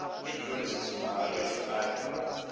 ke ntloleswiswi magagešo a re